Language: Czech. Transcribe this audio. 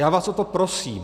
Já vás o to prosím.